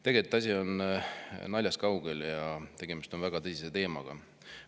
Tegelikult on asi naljast kaugel ja tegemist on väga tõsise teemaga.